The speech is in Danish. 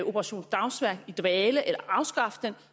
operation dagsværk i dvale eller afskaffe